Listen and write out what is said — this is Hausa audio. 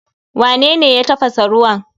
Wanene ya tafasa ruwan?